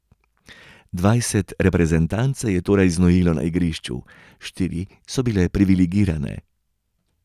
Dvajset reprezentanc se je torej znojilo na igrišču, štiri so bile privilegirane.